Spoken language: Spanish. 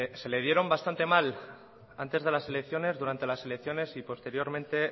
se le dieron bastante mal antes de las elecciones durante las elecciones y posteriormente